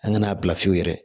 An ka n'a bila fiyewu yɛrɛ